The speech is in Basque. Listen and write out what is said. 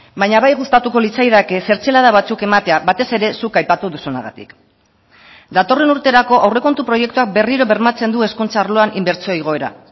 baina bai gustatuko litzaidake zertzelada batzuk ematea batez ere zuk aipatu duzunagatik datorren urterako aurrekontu proiektuak berriro bermatzen du hezkuntza arloan inbertsio igoera